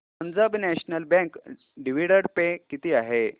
Punjab National Bank dividend pay किती आहे